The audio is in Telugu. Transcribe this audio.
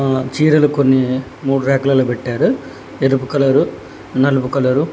ఆ చీరలు కొన్ని మూడు రాక్లలో పెట్టారు ఎరుపు కలరు నలుపు కలరు --